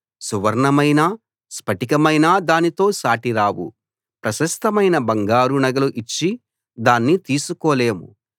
సువర్ణమైనా స్ఫటికమైనా దానితో సాటిరావు ప్రశస్తమైన బంగారు నగలు ఇచ్చి దాన్ని తీసుకోలేము